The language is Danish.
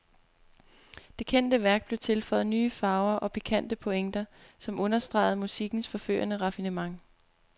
Det kendte værk blev tilføjet nye farver og pikante pointer, som understregede musikkens forførende raffinement.